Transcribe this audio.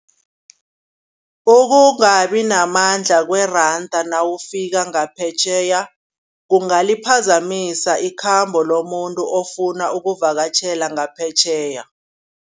Ukungabi namandla kweranda nawufika ngaphetjheya kungaliphazamisa ikhambo lomuntu ofuna ukuvakatjhela ngaphetjheya.